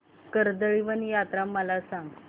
कर्दळीवन यात्रा मला सांग